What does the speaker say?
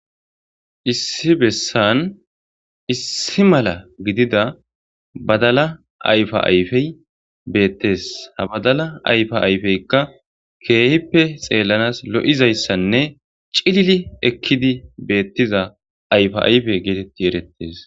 issi bessan issi mala gidida badala ayfa ayfey beettes ha badala ayfa ayfeykka keehippe xeellanas lo7izayssanne cilili ekkidi beettiza ayfa ayfe geetetti erettes